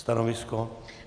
Stanovisko?